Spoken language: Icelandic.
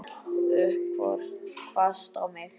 Horfði hvasst á mig.